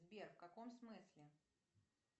сбер в каком смысле